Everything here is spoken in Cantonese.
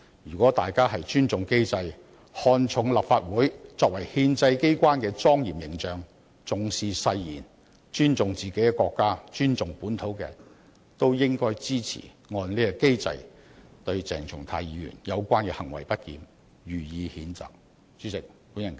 如果大家尊重機制，看重立法會作為憲制機關的莊嚴形象，重視誓言，尊重自己的國家和本土，均應支持按此機制對鄭松泰議員的相關行為不檢予以譴責。